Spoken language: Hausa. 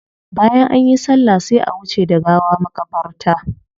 Bayan anyi sallah sai a wuce da gawa makabarta.